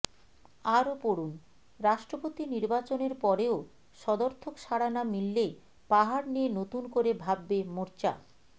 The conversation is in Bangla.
আরও পড়ুন রাষ্ট্রপতি নির্বাচনের পরেও সদর্থক সাড়া না মিললে পাহাড় নিয়ে নতুন করে ভাববে মোর্চা